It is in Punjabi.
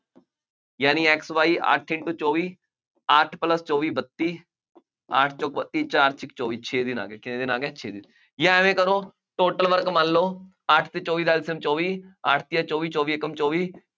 ਯਾਨੀ X Y ਅੱਠ into ਚੌਵੀ, ਅੱਠ plus ਚੌਵੀ ਬੱਤੀ, ਅੱਠ ਚੌਕ ਬੱਤੀ, ਚਾਰ ਛੀਕ ਚੌਵੀ, ਛੇ ਦਿਨ ਆ ਗਏ, ਕਿੰਨੇ ਦਿਨ ਆ ਗਏ, ਛੇ ਦਿਨ, ਜਾਂ ਐਵੇਂ ਕਰੋ total work ਮੰਨ ਲਉੇ ਅੱਠ ਅਤੇ ਚੌਵੀ ਦਾ LCM ਚੌਵੀ ਅੱਠ ਤੀਆਂ ਚੌਵੀ, ਚੌਵੀ ਏਕਮ ਚੌਵੀ,